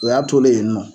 O y'a tolen yen nɔ